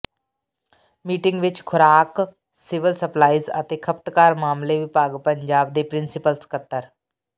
meeting ਵਿਚ ਖੁਰਾਕ civil supplies ਅਤੇ ਖਪਤਕਾਰ ਮਾਮਲੇ ਵਿਭਾਗ ਪੰਜਾਬ ਦੇ ਪ੍ਰਿੰਸੀਪਲ ਸਕੱਤਰ